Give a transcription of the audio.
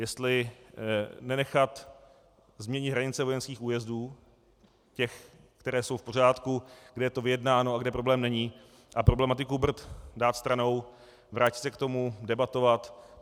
Jestli nenechat změny hranice vojenských újezdů, těch, které jsou v pořádku, kde je to vyjednáno a kde problém není, a problematiku Brd dát stranou, vrátit se k tomu, debatovat.